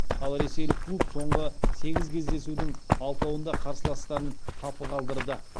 ал ресейлік клуб соңғы сегіз кездесудің алтауында қарсыластарын қапы қалдырды